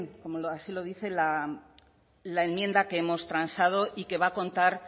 como así lo dice la enmienda que hemos transado y que va a contar